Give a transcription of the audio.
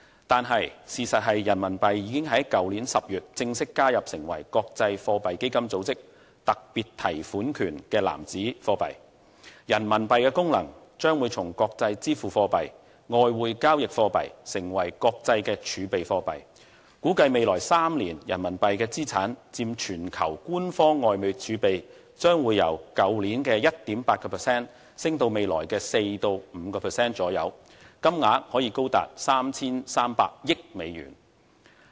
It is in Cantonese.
然而，事實上，人民幣已於去年10月正式加入成為國際貨幣基金組織特別提款權的貨幣籃子，人民幣的功能將會從國際支付貨幣、外匯交易貨幣變成為國際的儲備貨幣，估計未來3年人民幣的資產佔全球官方外匯儲備，將由去年的 1.8% 升至未來的 4% 至 5% 左右，金額可高達 3,300 億美元。